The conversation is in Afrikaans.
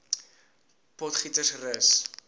potgietersrus